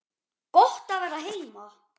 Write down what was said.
Gott að vera heima!